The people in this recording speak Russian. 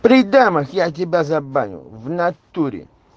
при дамах я тебя забаню в натуре